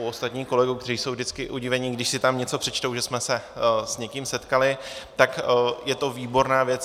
U ostatních kolegů, kteří jsou vždycky udivení, když si tam něco přečtou, že jsme se s někým setkali, tak je to výborná věc.